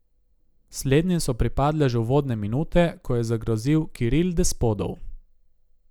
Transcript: Slednjim so pripadle že uvodne minute, ko je zagrozil Kiril Despodov.